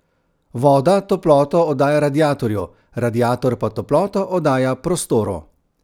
Voda toploto oddaja radiatorju, radiator pa toploto oddaja prostoru.